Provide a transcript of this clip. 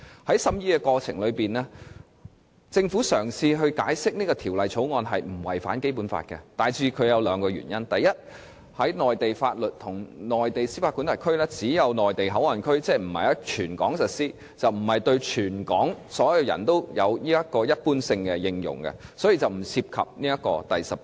在審議過程中，政府嘗試解釋《條例草案》並沒有違反《基本法》，大致基於兩個原因：第一，內地法律和內地司法管轄區只會在內地口岸區使用，即並非於全港實施，所以不會對所有香港人有着一般性應用，因而不干犯《基本法》第十八條。